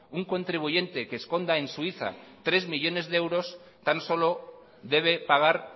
un contribuyente que esconda en suiza tres millónes de euros tan solo debe pagar